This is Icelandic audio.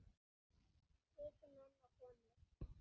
Og viti menn og konur.